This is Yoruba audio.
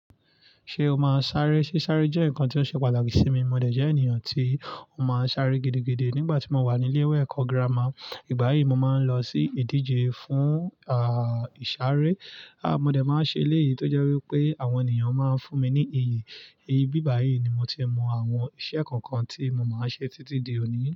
Ṣé o máa sáré? Ṣé sáré jẹ́ nǹkan tí ó ṣe pàtàkì sí mi? Mò de jẹ́ ènìyàn tí ó máa ń sáré gidigidi nígbà tí mo wà ní ilé ẹ̀kọ́ gírámà. Nígbà yìí, mo máa ń lọ sí ìdíje fún, ìsáré. Mo dè máa ń ṣe léyìí tó jẹ́ wípé àwọn ènìyàn máa ń fún mi ní iyì. iBí bà yí ni mo ti mọ àwọn iṣẹ́ kọ̀ọ̀kan tí mo máa ń ṣe títí di òní.